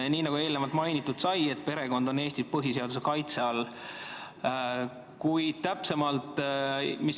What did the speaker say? Nii nagu eelnevalt mainitud sai, perekond on Eestis põhiseaduse kaitse all.